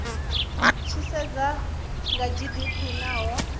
tshi sedziwa kha gdp naho